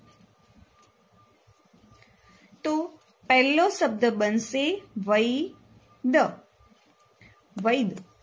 તો પેલો શબ્દ બનશે વૈ ધ વૈધ